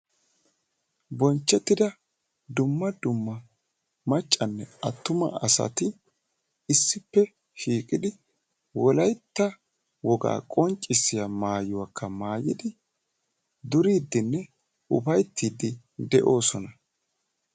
Bonchchetida dumma dumma maccanne attuma asati issippe shiiqidi Wolaytta woga qonccissiya maayuwakka maayyidi duriddinne upaytti de'oosona.